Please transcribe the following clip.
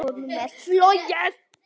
Honum er flogið.